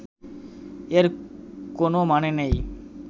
এর কোনও মানে নেই